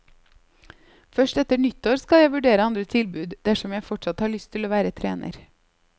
Først etter nyttår skal jeg vurdere andre tilbud, dersom jeg fortsatt har lyst til å være trener.